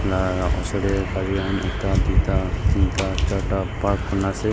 aa osor te gari khan ekta duita tinta charta park kori kina ase.